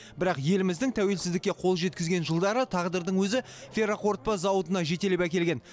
бірақ еліміздің тәуелсіздікке қол жеткізген жылдары тағдырдың өзі ферроқорытпа зауытына жетелеп әкелген